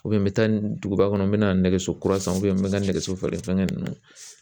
n bɛ taa duguba kɔnɔ n bɛ na nɛgɛso kura san n bɛ n ka nɛgɛso feere fɛnkɛ ninnu